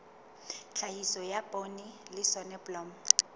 tlhahiso ya poone le soneblomo